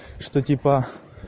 что типа